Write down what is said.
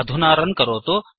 अधुना रन् करोतु